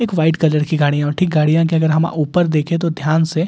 एक white colour की गाड़ियां और ठीक गाड़ियां के अगर हम ऊपर देखें तो ध्यान से--